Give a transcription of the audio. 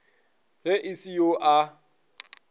ge e se yo a